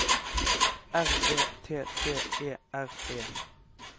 R E T T E R E